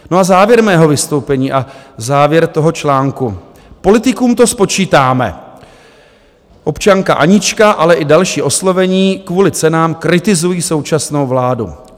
No a závěr mého vystoupení a závěr toho článku: Politikům to spočítáme, občanka Anička, ale i další oslovení kvůli cenám kritizují současnou vládu.